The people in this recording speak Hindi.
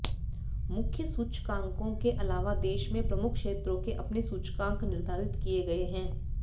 मुख्य सूचकांकों के अलावा देश में प्रमुख क्षेत्रों के अपने सूचकांक निर्धारित किए गए हैं